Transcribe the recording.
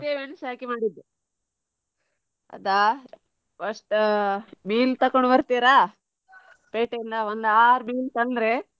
ಹುಳಿ ಮೆಣಸು ಹಾಕಿ ಮಾಡೋದು. ಅದಾ first ಮೀನು ತಗೊಂಡ್ ಬರ್ತೀರಾ ಪೇಟೆಯಿಂದ ಒಂದು ಆರು ಮೀನ್ ತಂದ್ರೆ.